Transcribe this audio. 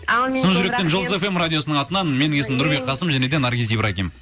шын жүректен жұлдыз фм радиосының атынан менің есімім нұрбек қасым және де наргиз ибрагим